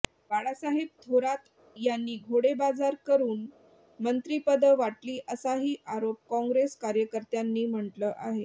बाळासाहेब थोरात यांनी घोडेबाजार करुन मंत्रिपदं वाटली असाही आरोप काँग्रेस कार्यकर्त्यांनी म्हटलं आहे